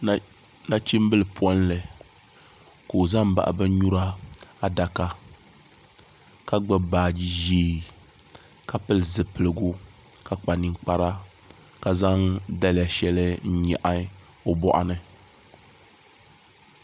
Nachimbili polli ka o ʒɛ n baɣa bin nyura adaka ka gbubi baaji ʒiɛ ka pili zipiligu ka kpa ninkpara ka zaŋ daliya shɛli n nyaɣa o boɣu ni